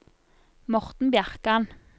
Morten Bjerkan